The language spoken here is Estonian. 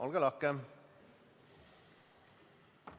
Olge lahke!